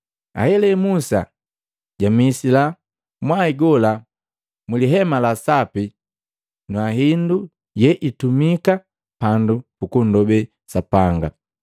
Ahelahe, Musa jamisila mwai gola mu lihema la Sapi na hindu yeitumika pandu pukundobe Sapanga.